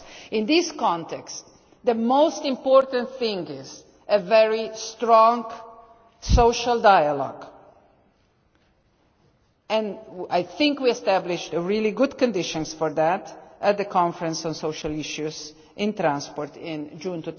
In this context, the most important thing is a very strong social dialogue. I think we established really good conditions for that at the Conference on social issues in transport in June